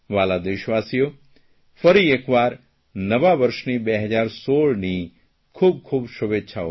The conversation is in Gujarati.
વ્હાલા દેશવાસીઓ ફરી એકવાર નવા વર્ષની 2016ની ઘણી બધી શુભેચ્છાઓ